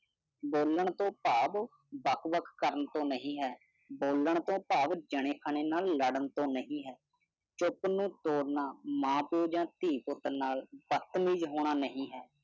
ਬੋਲਣ ਤੋਂ ਭਾਵ ਵੱਖ-ਵੱਖ ਕਰਨ ਤੋਂ ਨਹੀਂ ਹੈ। ਬੋਲਣ ਤੋਂ ਭਾਵ ਜਣੈਖਣੇ ਨਾਲ ਲੜਨ ਤੋਂ ਨਹੀਂ ਹੈ। ਚੁੱਪ ਨੂੰ ਤੋੜਨਾ, ਮਾਂ ਪਿਓ ਜਾ ਧੀ ਪੁੱਤ ਨਾਲ ਬਦਤਮੀਜ਼ ਹੋਣਾ ਨਹੀਂ ਹੈ।